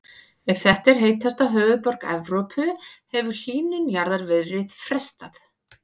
Ef þetta er heitasta höfuðborg Evrópu hefur hlýnun jarðar verið frestað.